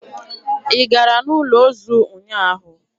Ị gara n'ụlọ ozu ụnyaahụ?